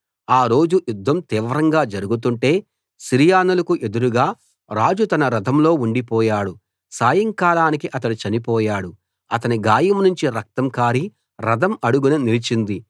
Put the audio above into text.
ఆరోజు యుద్ధం తీవ్రంగా జరుగుతుంటే సిరియనులకు ఎదురుగా రాజు తన రథంలో ఉండిపోయాడు సాయంకాలానికి అతడు చనిపోయాడు అతని గాయం నుంచి రక్తం కారి రథం అడుగున నిలిచింది